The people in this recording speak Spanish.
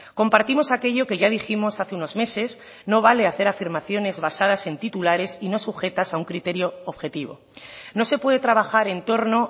compartimos aquello que ya dijimos hace unos meses no vale hacer afirmaciones basadas en titulares y no sujetas a un criterio objetivo no se puede trabajar en torno